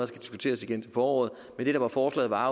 skal diskuteres igen til foråret men det der var forslaget var